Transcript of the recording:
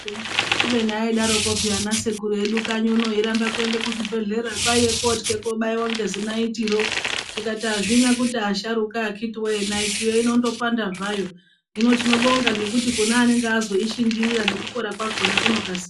Kubeni aidaroko peya ana sekuru edu kanyi uno airamba kwende kuzvibhedhlera. Kwaive kotwa kobaiva nezinaitiro tikati hazvina kuti asharuka akiti voye maitiyo inondo panda zvayo. Hino tinobonga ngekuti kune anonga azoishingirira nekupora kwakona kunokasika.